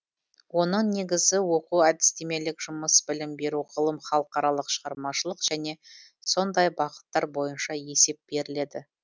оның негізі оқу әдістемелік жұмыс білім беру ғылым халықаралық шығармашылық және сондай бағыттар бойынша есеп беріледі